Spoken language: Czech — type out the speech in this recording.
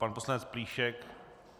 Pan poslanec Plíšek?